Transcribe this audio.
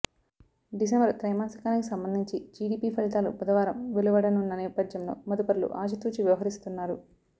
డిసెం బరు త్రైమాసికానికి సంబంధించి జీడీపీ ఫలితాలు బుధవారం వెలువడనున్న నేప ధ్యంలో మదుపరులు ఆచితూచి వ్యవ హరిస్తున్నారు